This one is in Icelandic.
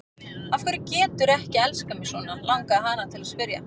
Af hverju geturðu ekki elskað mig svona, langaði hana til að spyrja.